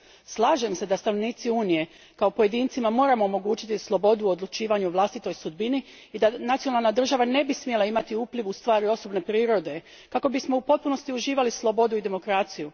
Slažem se da stanovnicima Unije kao pojedincima moramo omogućiti slobodu u odlučivanju o vlastitoj sudbini i da nacionalna država ne bi smjela imati upliv u stvari osobne prirode kako bismo u potpunosti uživali slobodu i demokraciju.